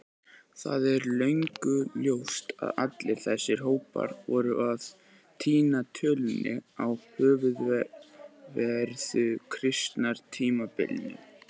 Það er löngu ljóst að allir þessir hópar voru að týna tölunni á ofanverðu Krítartímabilinu.